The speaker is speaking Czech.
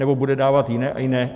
Nebo bude dávat jiné a jiné...